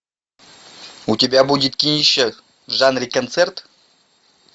у тебя будет кинище в жанре концерт